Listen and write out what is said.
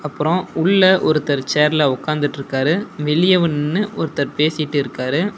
அப்றோ உள்ள ஒருத்தர் சேர்ல உக்காந்துட்ருக்காரு வெளியவு நின்னு ஒருத்தர் பேசிட்டிர்க்காரு.